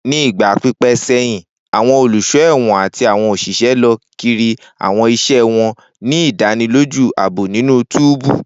Ni igba pipẹ sẹhin, awọn oluso ẹwọn ati awọn oṣiṣẹ lọ kiri awọn iṣẹ wọn, ni idaniloju aabo ninu túbú.